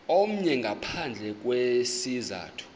omnye ngaphandle kwesizathu